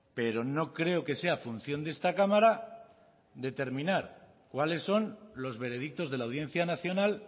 pero no creo que sea función de esta cámara determinar cuáles son los veredictos de la audiencia nacional